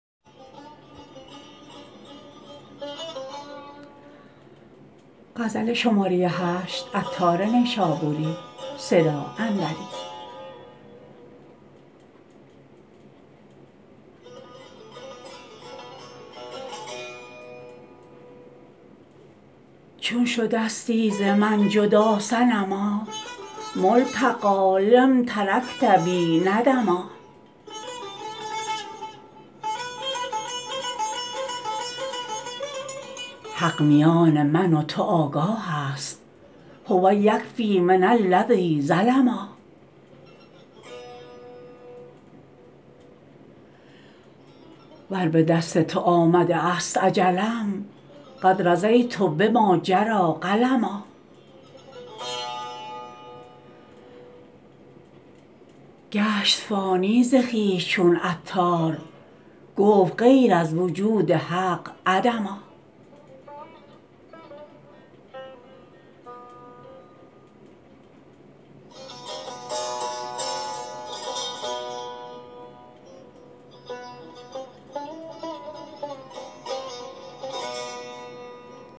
چون شدستی ز من جدا صنما ملتقی لم ترکت بی ندما حق میان من و تو آگاه است هو یکفی من الذی ظلما ور به دست تو آمده است اجلم قد رضیت بما جری قلما گشت فانی ز خویش چون عطار گفت غیر از وجود حق عدما